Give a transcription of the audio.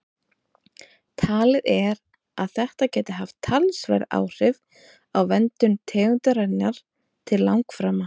Talið er að þetta gæti haft talsverð áhrif á verndun tegundarinnar til langframa.